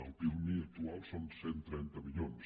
el pirmi actual són cent i trenta milions